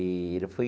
E ele foi...